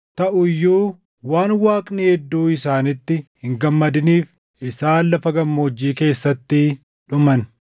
Taʼu iyyuu waan Waaqni hedduu isaaniitti hin gammadiniif isaan lafa gammoojjii keessatti dhuman.